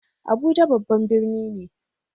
Abuja babban birni ne.